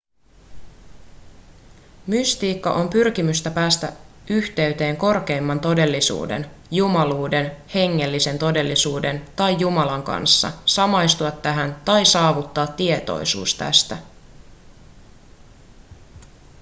mystiikka on pyrkimystä päästä yhteyteen korkeimman todellisuuden jumaluuden hengellisen todellisuuden tai jumalan kanssa samastua tähän tai saavuttaa tietoisuus tästä